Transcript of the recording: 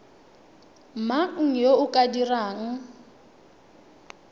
mang yo o ka dirang